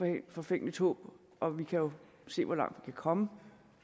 et forfængeligt håb og vi kan jo se hvor langt vi kan komme